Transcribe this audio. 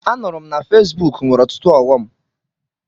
Anụrụ m na Fesbuk nwere ọtụtụ ọghọm.